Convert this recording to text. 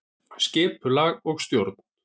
Skipulag og stjórn